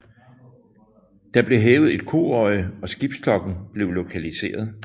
Der blev hævet et koøje og skibsklokken blev lokaliseret